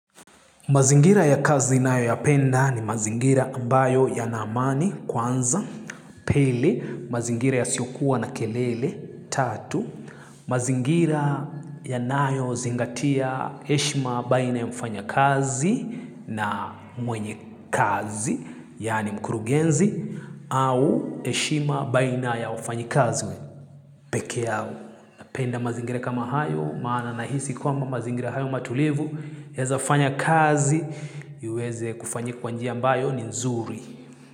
Mazingira ya kazi nayo ya penda ni mazingira ambayo yana amani kwanza, piie, mazingira ya siokuwa na kelele, tatu. Mazingira ya nayo zingatia heshima baina ya mfanya kazi na mwenye kazi, yaani mkurugenzi, au heshima baina ya wafanyi kazi. Pekee au, napenda mazingira kama hayo, maana nahisi kwamba mazingira hayo matulivu, naweza fanya kazi, iweze kufanyika kwa njia mbayo ni nzuri.